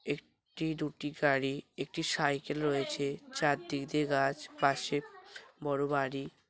এক-টি দুটি গাড়ি একটি সাইকেল রয়েছে চারদিক দিয়ে গাছ পাশে বড়ো বাড়ি।